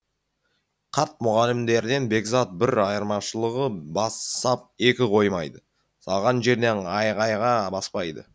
қарт мұғалімдерден бекзат бір айырмашылығы бас сап екі қоймайды салған жерден айғайға баспайды